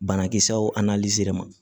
Banakisɛw a n'alizeri ma